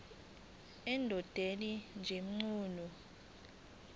endodeni sj mchunu